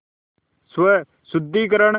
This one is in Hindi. स्वशुद्धिकरण